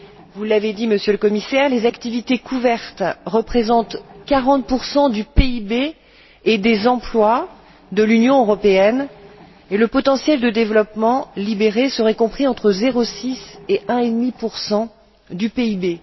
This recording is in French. Vous l'avez dit, Monsieur le Commissaire, les activités couvertes représentent 40 du PIB et des emplois de l'Union européenne, et le potentiel de développement libéré serait compris entre 0,6 et 1,5 du PIB.